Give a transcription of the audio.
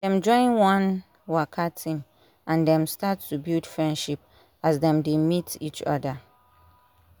dem join one waka team and dem start to build friendship as dem dey meet each other